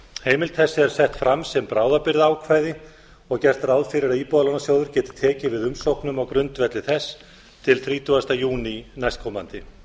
heimild þessi er sett fram sem bráðabirgðaákvæði og gert ráð fyrir að íbúðalánasjóður geti tekið við umsóknum á grundvelli þess til þrítugasta júní næstkomandi niðurfærslur